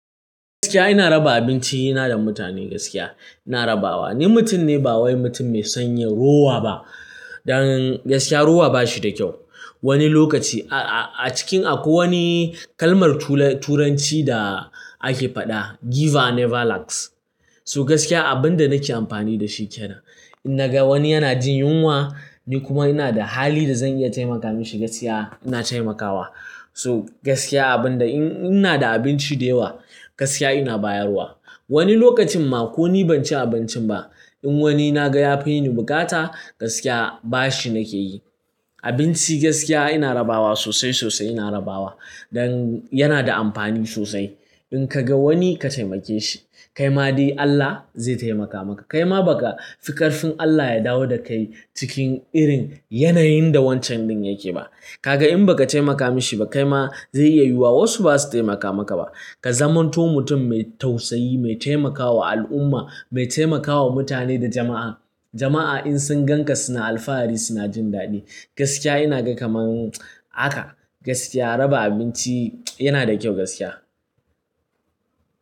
Gaskiya ina raba abinci na da mutane gaskiya ina rabawa. Ni mutum ne ba wai mutum mai sanyin rowa ba. Dan gaskiya rowa ba shi da kyau. Wani lokaci a cikin akwai wani kalmar turanci da ake faɗa "Giver never lacks." So gaskiya abin da nake amfani da shi ke nan. In naga wani yana jin yunwa ni kuma ina da hali da zan iya taimaka mishi gaskiya ina taimakawa. So gaskiya abin da in ina da abinci da yawa gaskiya ina bayarwa. Wani lokacin ma ko ni ban ci abincin ba in wani na ga ya fi ni bukata gaskiya bashi nake yi. Abinci gaskiya ina rabawa sosai sosai ina rabawa. Dan yana da amfani sosai. In ka ga wani ka taimake shi kaima dai Allah zai taimaka maka. Kaima ba ka fi ƙarfin Allah ya dawo da kai cikin irin yanayin da wancan ɗin yake ba. Kaga in ba ka taimaka mashi ba kaima zai iya yiwuwa wasu ba su taimaka maka ba. Ka zamanto mutum mai tausayi, mai taimakawa al'umma, mai taimakawa mutane da jama'a. Jama'a in sun gan ka suna alfahari suna jin daɗi. Gaskiya ina ga kamar haka gaskiya raba abinci yana da kyau gaskiya.